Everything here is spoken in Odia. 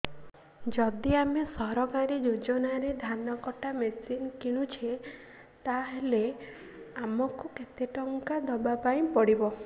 ଯଦି ଆମେ ସରକାରୀ ଯୋଜନାରେ ଧାନ କଟା ମେସିନ୍ କିଣୁଛେ ତାହାଲେ ଆମକୁ କେତେ ଟଙ୍କା ଦବାପାଇଁ ପଡିବ